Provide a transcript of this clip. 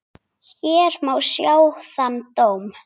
Hér má sjá þann dóm.